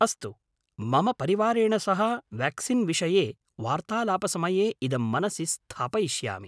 अस्तु, मम परिवारेण सह वेक्सीन्विषये वार्तालापसमये इदं मनसि स्थापयिष्यामि।